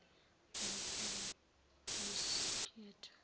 ngesikabrusciotto